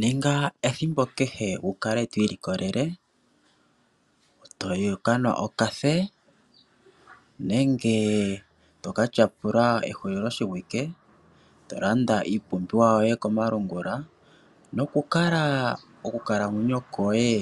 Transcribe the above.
Ninga ethimbo kehe wu kale to ilikolele wu ka nwe okoothiwa nenge to ka tyapulila ehuliloshiwike to landa iipumbiwa yoye komalungula, nokukala okukalamwenyo koye